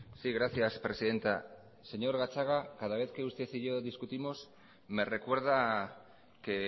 sí gracias presidenta señor gatzagaetxebarria cada vez que usted y yo discutimos me recuerda que